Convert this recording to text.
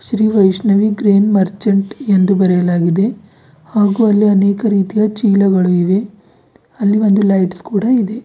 Shri Vaishnavi green merchant ಎಂದು ಬರೆಯಲಾಗಿದೆ ಹಾಗೂ ಅಲ್ಲಿ ಅನೇಕ ರೀತಿಯ ಚೀಲಗಳು ಇವೆ ಅಲ್ಲಿ ಒಂದು ಲೈಟ್ಸ್ ಕೂಡ ಇದೆ.